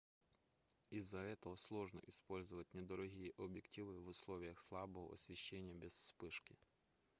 из-за этого сложно использовать недорогие объективы в условиях слабого освещения без вспышки